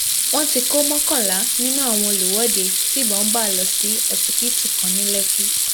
wọn tí kò mọkànlá nínú àwọn olùwọde tibọn bá lọ sí ọsibítù kan ní lẹkì